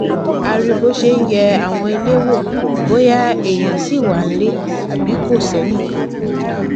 a rí i bó ṣe ń yẹ àwọn ilé wò bóyá èèyàn ṣì wà nílẹ àbí kò sẹnìkan